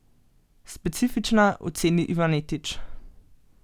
Specifična, oceni Ivanetič.